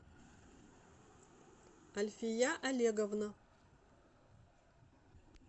альфия олеговна